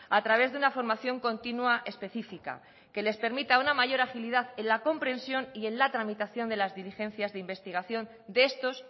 a través de una formación continua específica que les permita una mayor agilidad en la comprensión y en la tramitación de las diligencias de investigación de estos